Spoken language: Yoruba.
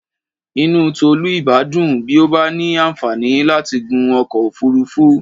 Inú Tọ́lá ìbá dùn bí ó bá ní àǹfààní láti gun ọkọ̀ òfuurufú.